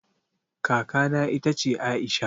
Kaka na ita ce Aisha